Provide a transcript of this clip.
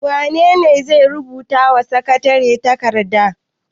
Wane ne zai rubuta wa sakatare takarda?